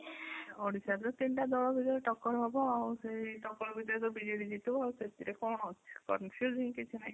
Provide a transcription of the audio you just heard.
ଓଡିଶା ରେ ବି ସେମିତିଆ ଦଳ ସେ ଯୋଉ ଟକ୍କର ହବ ଆଉ ସେ ଟକ୍କର ଭିତରେ ତ ବିଜେଡି ଜିତିବ ଆଉ ସେଥିରେ କଣ ଅଛି confusing କିଛି ନାହିଁ ।